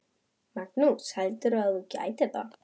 Magnús: Heldurðu að þú gætir það?